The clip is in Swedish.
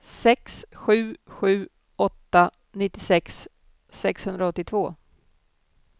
sex sju sju åtta nittiosex sexhundraåttiotvå